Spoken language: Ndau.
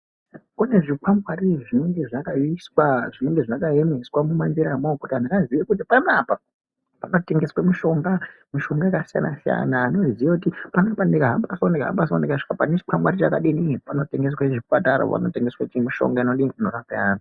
Kune zvikwangwari zvinenge zvakaiswa, zvinenge zvakaemeswa mumanjiramwo kuti antu aziye kuti panaapa panotengeswa mishonga, mishonga yakasiyana siyana antu anenge eiziya kuti panapa ndikahambaso, ndikahambaso ndikasvika pane chikwangwari chakadini panotengeswa mishonga inorape antu.